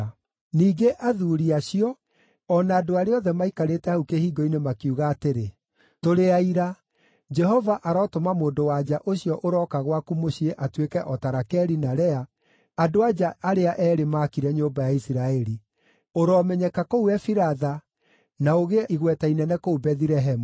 Ningĩ athuuri acio, o na andũ arĩa othe maikarĩte hau kĩhingo-inĩ, makiuga atĩrĩ, “Tũrĩ aira. Jehova arotũma mũndũ-wa-nja ũcio ũroka gwaku mũciĩ atuĩke o ta Rakeli na Lea, andũ-a-nja arĩa eerĩ maakire nyũmba ya Isiraeli. Ũromenyeka kũu Efiratha, na ũgĩe igweta inene kũu Bethilehemu.